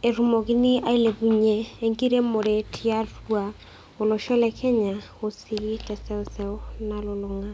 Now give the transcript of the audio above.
petumokini ailepunye enkiremore tiatua olosho le Kenya oteseuseu nalulunga.